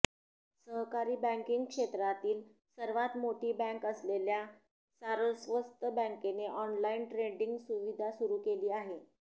सहकारी बँकिंग क्षेत्रातील सर्वात मोठी बँक असलेल्या सारस्वत बँकेने ऑनलाइन ट्रेडिंग सुविधा सुरू केली आहे